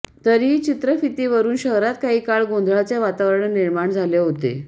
तरीही चित्रफितीवरून शहरात काही काळ गोंधळाचे वातावरण निर्माण झाले होते